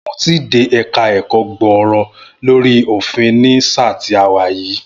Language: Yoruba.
N ò tíì dé ẹ̀ka ẹ̀kọ́ gbòòrò lórí òfin ni sáà ti a wà yìí